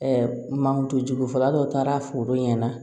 mantonjugu fɔlɔ taara foro ɲɛna